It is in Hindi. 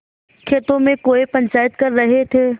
खेतों में कौए पंचायत कर रहे थे